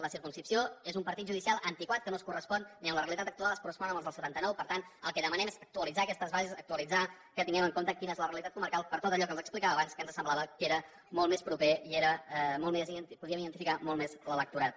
la circumscripció és un partit judicial antiquat que no es correspon ni en la realitat actual es correspon amb els del setanta nou per tant el que demanem és actualitzar aquestes bases actualitzar que tinguem en compte quina és la realitat comarcal per tot allò que els explicava abans que ens semblava que era molt més proper i que podíem identificar molt més l’electorat